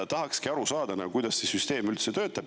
Tahaksin aru saada, kuidas see süsteem töötab.